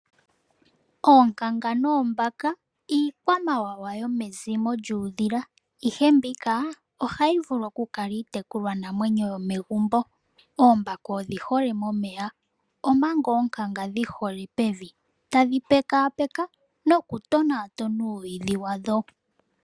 Oonkanga noombaka iikwamawawa yomezimo lyuudhila ihe mbika ohayi vulu okukala iitekulwa namwenyo yomegumbo. Oombaka odhi hole momeya, omanga oonkanga dhi hole pevi tadhi pekapeka nokutonatona uuyidhi wadho.